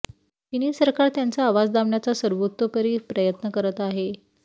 चिनी सरकार त्यांचा आवाज दाबण्याचा सर्वतोपरी प्रयत्न करत आहे